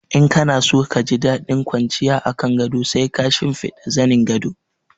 In kana so ka ji daɗin kwanciya a kan gado sai ka shinfiɗa zanin gado.